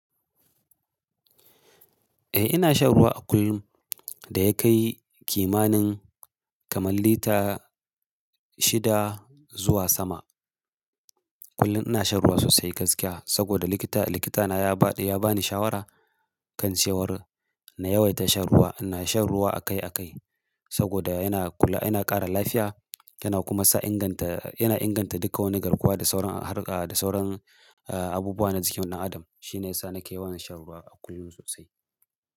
Eh ina shan ruwa a kullum da ya kai kimanin kamar lita shida zuwa sama. Kullum ina shan ruwa sosai gaskiya saboda likita, likita na ya bani shawara kan cewar na yawaita shan ruwa. Ina shan ruwa akai-akai saboda yana ƙara lafiya yana kuma sa yana inganta duka wani garkuwa da sauran abubuwa na jikin ɗan adam. Shine yasa nake yawan shan ruwa a kullum sosai.